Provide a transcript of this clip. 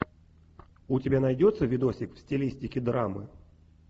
у тебя найдется видосик в стилистике драмы